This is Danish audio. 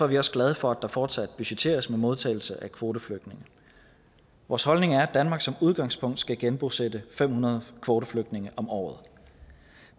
vi også glade for at der fortsat budgetteres med modtagelse af kvoteflygtninge vores holdning er at danmark som udgangspunkt skal genbosætte fem hundrede kvoteflygtninge om året